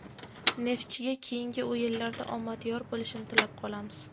"Neftchi"ga keyingi o‘yinlarda omad yor bo‘lishini tilab qolamiz!.